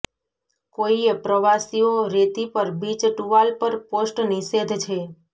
કોઇએ પ્રવાસીઓ રેતી પર બીચ ટુવાલ પર પોસ્ટ નિષેધ છે